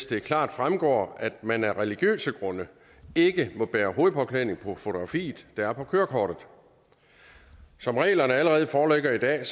det klart fremgår at man af religiøse grunde ikke må bære hovedbeklædning på det fotografi der er på kørekortet som reglerne allerede foreligger i dag